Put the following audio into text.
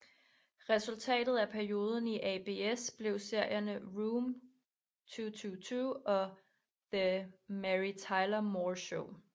Resultatet af perioden i ABS blev serierne Room 222 og The Mary Tyler Moore Show